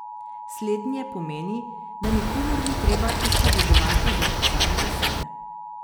Slednje pomeni, da nikomur ni treba izpovedovati zoper samega sebe.